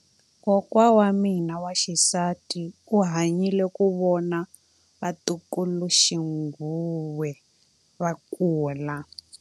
Kokwa wa mina wa xisati u hanyile ku vona vatukuluxinghuwe va kula.